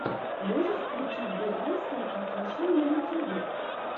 можешь включить би айстон офишэл на ютюбе